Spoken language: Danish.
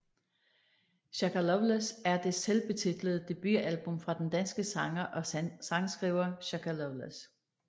Shaka Loveless er det selvbetitlede debutalbum fra den danske sanger og sangskriver Shaka Loveless